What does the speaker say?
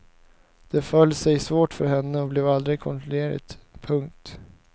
Det föll sig svårt för henne och blev aldrig kontinuerligt. punkt